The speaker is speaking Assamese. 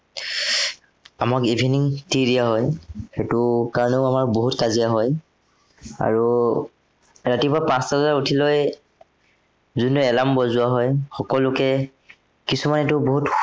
আমাক evening tea দিয়া হয়। সেইটোৰ কাৰনেও আমাৰ বহুত কাজিয়া হয়। আৰু, ৰাতিপুৱা পাঁচটা বজাত উঠি লৈ যোনটো alarm বজোৱা হয়, সকলোকে, কিছুমানেতো বহুত